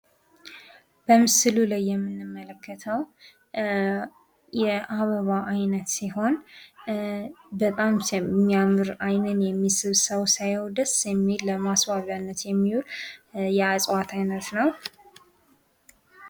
በምስሉ ላይ የምንመለከተው የአበባ አይነት ሲሆን በጣም የሚያምር አይንን የሚስብ ሰው ሲያየው ደስ የሚል ለማስዋብያነት የሚዉል የእፅዋት አይነት ነው::